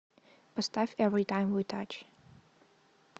поставь эвритайм ви тач